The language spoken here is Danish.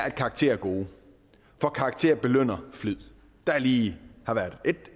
at karakterer er gode for karakterer belønner flid der har lige været ét